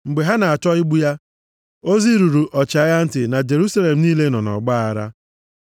Mgbe ha na-achọ igbu ya, ozi ruru ọchịagha ntị na Jerusalem niile nọ nʼọgbaaghara.